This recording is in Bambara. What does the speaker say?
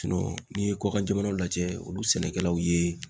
n'i ye kɔkan jamanaw lajɛ, olu sɛnɛkɛlaw ye